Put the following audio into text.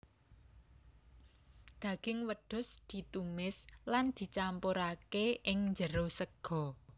Daging wedhus ditumis lan dicampurake ing jero sega